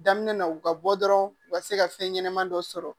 Daminɛ na u ka bɔ dɔrɔn u ka se ka fɛn ɲɛnaman dɔ sɔrɔ